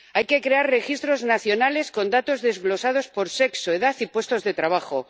Hay que crear registros nacionales con datos desglosados por sexo, edad y puestos de trabajo.